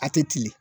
A tɛ cili